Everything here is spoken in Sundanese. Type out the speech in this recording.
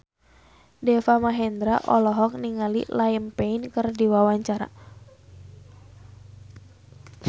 Deva Mahendra olohok ningali Liam Payne keur diwawancara